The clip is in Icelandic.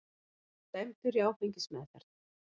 Dæmdur í áfengismeðferð